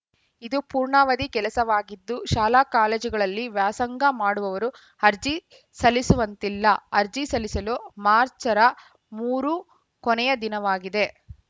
ಇದು ಪೂರ್ಣಾವಧಿ ಕೆಲಸವಾಗಿದ್ದು ಶಾಲಾಕಾಲೇಜುಗಳಲ್ಲಿ ವ್ಯಾಸಂಗ ಮಾಡುವವರು ಅರ್ಜಿ ಸಲ್ಲಿಸುವಂತಿಲ್ಲ ಅರ್ಜಿ ಸಲ್ಲಿಸಲು ಮಾರ್ಚರ ಮೂರು ಕೊನೆಯ ದಿನವಾಗಿದೆ